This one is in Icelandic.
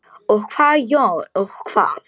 Og hvað Jón, og hvað?